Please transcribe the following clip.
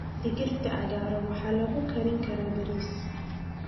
Digirta cagaaran waxaa lagu karin karaa bariis.